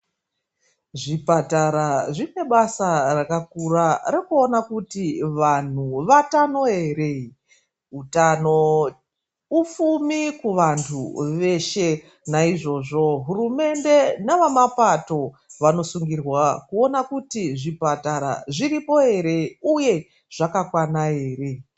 Zvipatara zvine basa rakakura rekuona kuti vanthu vatano ere. Utano ufumi kuvanthu veshe. Naizvozvo hurumende navamapato vanosungirwa kuona kuti zvipatara zviripo ere uye zvakakwana ere.